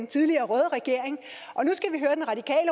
tidligere røde regering